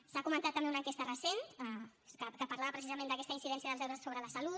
s’ha comentat també una enquesta recent que parlava precisament d’aquesta incidència dels deures sobre la salut